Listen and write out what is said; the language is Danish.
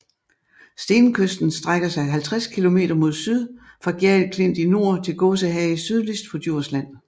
Stenkysten strækker sig 50 km mod syd fra Gjerrild Klint i nord til Gåsehage sydligst på Djursland